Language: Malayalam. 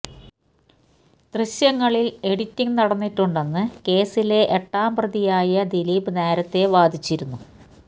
ദൃശ്യങ്ങളിൽ എഡിറ്റിങ് നടന്നിട്ടുണ്ടെന്ന് കേസിലെ എട്ടാം പ്രതിയായ ദിലീപ് നേരത്തെ വാദിച്ചിരുന്നു